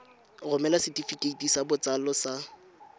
romela setefikeiti sa botsalo sa